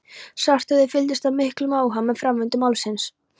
Svarthöfði fylgdist af miklum áhuga með framvindu málsins.